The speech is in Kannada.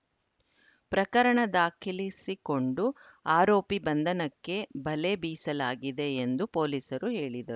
ಪ್ರಕರಣ ದಾಖಿಲಿಸಿಕೊಂಡು ಆರೋಪಿ ಬಂಧನಕ್ಕೆ ಬಲೆ ಬೀಸಲಾಗಿದೆ ಎಂದು ಪೊಲೀಸರು ಹೇಳಿದರು